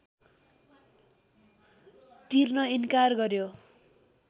तिर्न इन्कार गर्‍यो